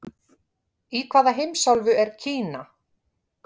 Í hvaða heimsálfu er Kína?